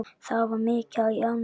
Það var mikið í ánni.